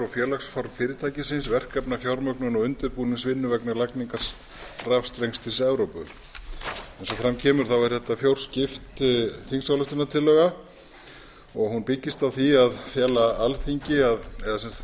félagsform fyrirtækisins verkefnafjármögnun og undirbúningsvinnu vegna lagningar rafstrengs til evrópu eins og fram kemur er þetta fjórskipt þingsályktunartillaga og hún byggist á því